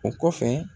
O kɔfɛ